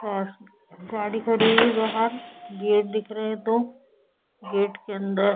पास गाड़ी खड़ीं हुई है बाहर गेट दिख रहे है दो गेट के अंदर --